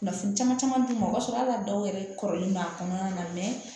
Kunnafoni caman d'u ma o b'a sɔrɔ hali dɔw yɛrɛ kɔrɔlen b'a kɔnɔna na